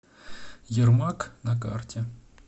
ермак на карте